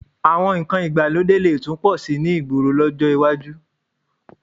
Àwọn nǹkan ìgbàlódé lè tún pọ̀ síi ní ìgboro lọ́jọ́ iwájú